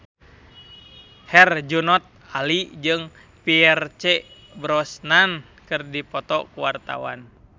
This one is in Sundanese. Herjunot Ali jeung Pierce Brosnan keur dipoto ku wartawan